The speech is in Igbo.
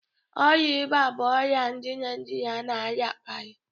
Ọrịa ịba bụ ọrịa ndị Naijirịa na-arịakarị.